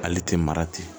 Ale tɛ mara ten